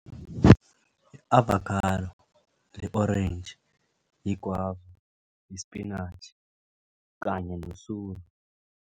I-avokhado, i-orentji, i-gwava, isipinatjhi kanye nosuru.